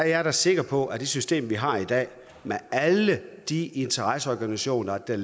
jeg er da sikker på at med det system vi har i dag og med alle de interesseorganisationer der